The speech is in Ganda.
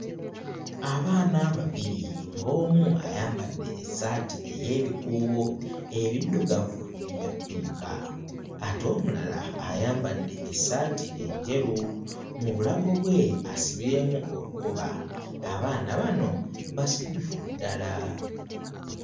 Abaana babiri, ng'omu ayambadde essaati ey'ebikuubo ebiddugavu n'ebya ppinka ate omulala ayambadde essaati enjeru. Mu bulago bwe asibyemu olukoba, abaana bano basanyufu ddala.